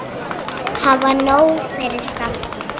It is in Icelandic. Hafa nóg fyrir stafni.